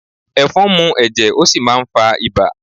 Ẹ̀fọn ń mú ẹ̀jẹ̀, ó sì máà ń fá ibà